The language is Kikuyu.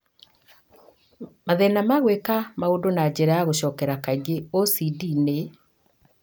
Mathĩna ma gwĩka maũndũ na njĩra ya gũcokera kaingĩ (OCD) nĩ